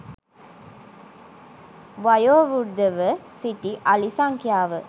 වයෝවෘද්ධව සිටි අලි සංඛ්‍යාව